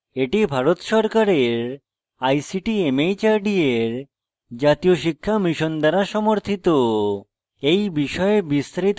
এটি ভারত সরকারের ict mhrd এর জাতীয় শিক্ষা mission দ্বারা সমর্থিত